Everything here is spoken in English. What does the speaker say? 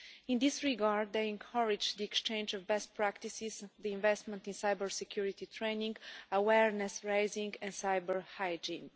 In this regard, they encourage the exchange of best practices, investment in cybersecurity training, awareness raising and cyber hygiene.